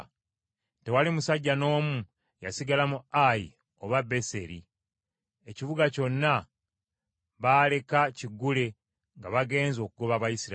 Tewali musajja n’omu yasigala mu Ayi oba Beseri, ekibuga kyonna baaleka kiggule nga bagenze okugoba Abayisirayiri.